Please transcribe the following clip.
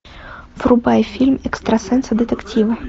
врубай фильм экстрасенсы детективы